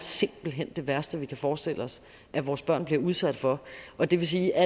det værste vi kan forestille os vores børn blive udsat for og det vil sige at